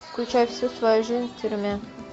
включай всю твою жизнь в тюрьме